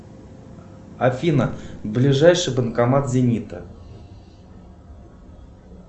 афина ближайший банкомат зенита